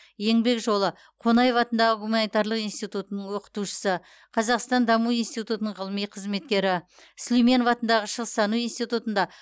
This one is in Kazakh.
еңбек жолы қонаев атындағы гуманитарлық институтының оқытушысы қазақстан даму институтының ғылыми қызметкері сүлейменов атындағы шығыстану институтында